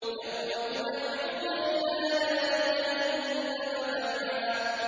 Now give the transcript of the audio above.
يَوْمَ يُدَعُّونَ إِلَىٰ نَارِ جَهَنَّمَ دَعًّا